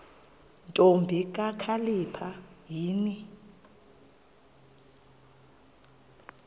ntombi kakhalipha yini